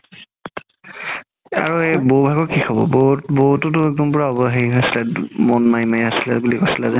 আৰু এই বৌ হাতৰ কি খবৰ বৌ তো একদম পুৰা হেৰি হৈ আছিলে মন মাৰি মাৰি আছিলে বুলি কৈছিলে যে